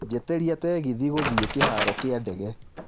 njĩtiĩria tegithi gũthiĩ kĩharo ya ndege